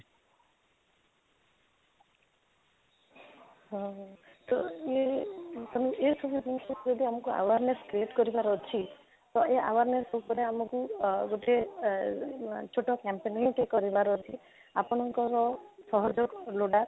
ହଁ ତ may be ତାହେଲେ ଏ ସବୁ rules କୁ କେବେ ଆମକୁ awareness create କରିବାର ଅଛି ତ ଏ awareness ଉପରେ ଆମକୁ ଆଃ ଗୋଟିଏ ଅଃ ଛୋଟ campaigning ଟେ କରିବାର ଅଛି ଆପଙ୍କର ସହଯୋଗ ଲୋଡ଼ା